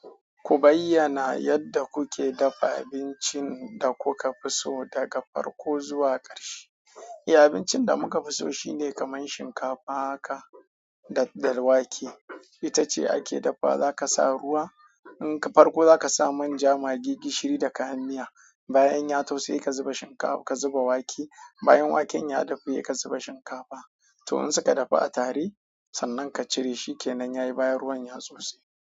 Ku bayyana yadda kuke dafa abincin da kuka fi so daga farko zuwa ƙarshe. Eh abincin da muka fi so shine kamar shinkafa haka da dalwake. Ita ce ake dafawa, zaka sa ruwa, in ka farko zaka sa manja, magi, gishiri da kayan miya. Bayan ya taushe ka zuba shinkafa, ka zuba wake. Bayan waken ya dafu, ye ka zuba shinkafa. To in suka dafu a tare sannan ka cire shi ke nan yayi bayan ruwan ya taushe.